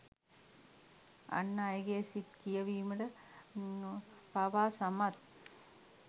අන් අයගේ සිත් කියවීමට පවා සමත්